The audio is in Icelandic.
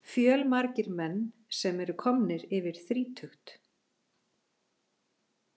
Fjölmargir menn sem eru komnir yfir þrítugt.